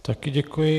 Také děkuji.